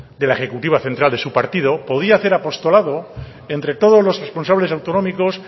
de la ejecutiva central de su partido podía hacer apostolado entre todos los responsables autonómicos